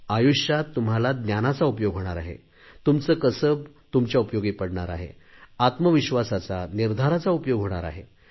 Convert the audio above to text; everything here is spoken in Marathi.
आयुष्यात तुम्हाला ज्ञानाचा उपयोग होणार आहे तुमचे कसब तुमच्या उपयोगी पडणार आहे आत्मविश्वासाचा निर्धाराचा उपयोग होणार आहे